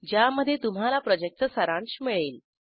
ज्यामध्ये तुम्हाला प्रॉजेक्टचा सारांश मिळेल